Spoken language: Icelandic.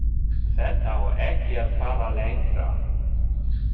Þetta á ekki að fara lengra.